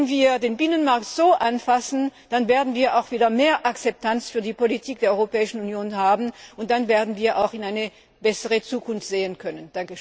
Wenn wir den Binnenmarkt so anfassen, dann werden wir auch wieder mehr Akzeptanz für die Politik der Europäischen Union finden und dann werden wir auch in eine bessere Zukunft sehen können.